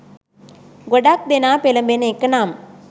ගොඩාක් දෙනා පෙළඹෙන එක නම්